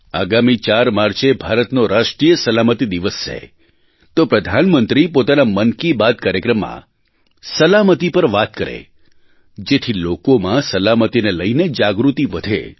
આગામી 4 માર્ચે ભારતનો રાષ્ટ્રીય સલામતી દિવસ છે તો પ્રધાનમંત્રી પોતાના મન કી બાત કાર્યક્રમમાં સલામતી પર વાત કરે જેથી લોકોમાં સલામતીને લઇને જાગૃતિ વધે